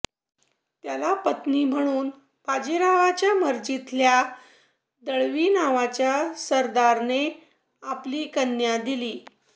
त्याला पत्नी म्हणून बाजीरावाच्या मर्जीतल्या दळवी नावाच्या सरदाराने आपली कन्या दिली